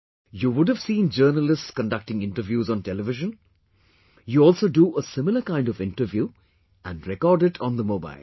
You would have seen journalists conductinginterviews on TV, you also do a similar kind of interview and record it on the mobile